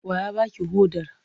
Wa ya ba ki hodar?